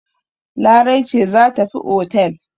Larai ce za tafi otel.